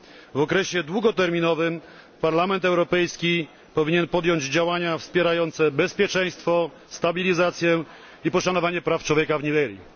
W okresie długoterminowym Parlament Europejski powinien podjąć działania wspierające bezpieczeństwo, stabilizację i poszanowanie praw człowieka w Nigerii.